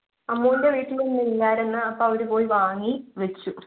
അമ്മുന്‍ടെ വീട്ടില് ഇന്നു ഇല്ലായിരുന്ന്. അപ്പൊ അവര് പോയി വാങ്ങി, വച്ചു.